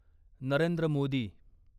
Narendra Modi